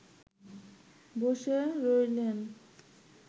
বসে রইলেন